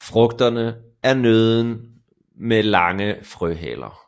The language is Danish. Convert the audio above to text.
Frugterne er nødder med lange frøhaler